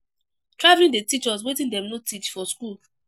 Travelling fit teach us wetin dem no teach for school